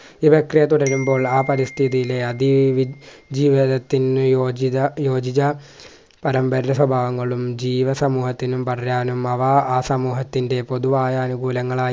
ഇതൊക്കെ തുടരുമ്പോൾ ആ പരിസ്ഥിതിയിലെ അതി വി ജീവിതത്തിന് യോജിത യോജിത പരമ്പര സ്വഭാവങ്ങളും ജീവസമൂഹത്തിനും വളരാനും അവ ആ സമൂഹത്തിൻ്റെ പൊതുവായാനുകുലങ്ങളായി